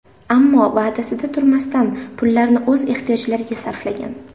Ammo va’dasida turmasdan, pullarni o‘z ehtiyojlariga sarflagan.